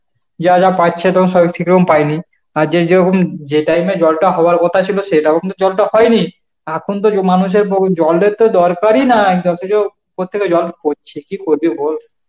যা যা পাচ্ছে পাইনি আর যে জো উম যে time এ জলটা হওয়ার কথা ছিল সেটাও কিন্তু জলটা হয়নি এখন দেখো মানুষের বহু জলের তো দরকারই না কি করবি বল